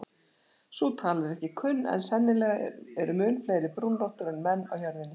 Sú tala er ekki kunn en sennilega eru mun fleiri brúnrottur en menn á jörðinni.